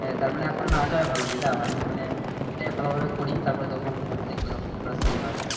আহ তার মানি এখন নাহ যাওয়াই ভালো বুঝলা আমি মানে এইটাই ভালো ভাবে করি তারপরে যখন দেখবো তখন Preparation নেওয়া যাবে